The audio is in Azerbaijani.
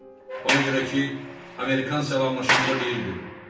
Ona görə ki, Amerikan salamlaşanda deyirdi,